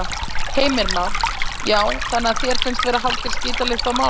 Heimir Már: Já, þannig að þér finnst vera hálfgerð skítalykt af málinu?